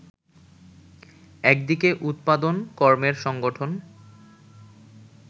একদিকে উৎপাদন-কর্মের সংগঠন